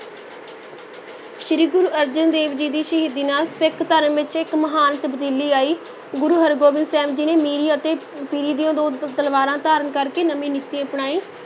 ਸ੍ਰੀ ਗੁਰੂ ਅਰਜਨ ਜੀ ਦੀ ਸ਼ਹੀਦੀ ਨਾਲ ਸਿੱਖ ਧਰਮ ਵਿਚ ਇੱਕ ਮਹਾਨ ਤਬਦੀਲੀ ਆਈ, ਗੁਰੂ ਹਰਗੋਬਿੰਦ ਸਾਹਿਬ ਜੀ ਨੇ ਮੀਰੀ ਅਤੇ ਪੀਰੀ ਦੀਆਂ ਦੋ ਤਲਵਾਰਾਂ ਧਾਰਨ ਕਰਕੇ ਨਵੀਂ ਨੀਤੀ ਅਪਣਾਈ।